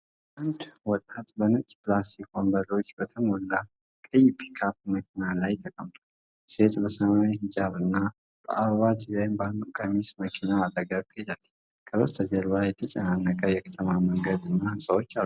አንድ ወጣት በነጭ ፕላስቲክ ወንበሮች በተሞላ ቀይ ፒክአፕ መኪና ላይ ተቀምጧል። ሴት በሰማያዊ ሂጃብና በአበባ ዲዛይን ባለው ቀሚስ መኪናው አጠገብ ትሄዳለች። ከበስተጀርባ የተጨናነቀ የከተማ መንገድ እና ሕንፃዎች አሉ።